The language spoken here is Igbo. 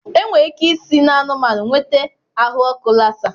Enwere ike isi n'anụmanụ nweta ahụ ọkụ lassa.